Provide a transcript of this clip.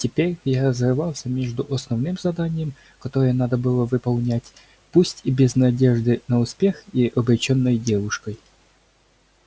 теперь я разрывался между основным заданием которое надо было выполнять пусть и без надежды на успех и обречённой девушкой